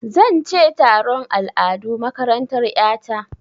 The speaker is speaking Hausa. Zan ce taron al'adu a makarantar ƴa ta.